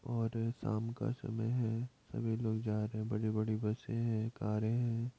और ये शाम का समय हैं सभी लोग जा रहे हैं बड़ी बड़ी बसे हैं कारे हैं।